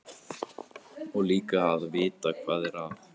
Og líka að vita hvað er að.